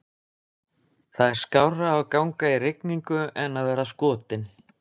Það er skárra að ganga í rigningu en að vera skotinn